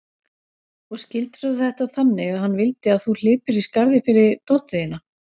Og skildirðu þetta þannig að hann vildi að þú hlypir í skarðið fyrir dóttur þína?